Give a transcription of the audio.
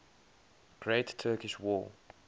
great turkish war